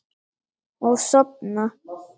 Og sofna.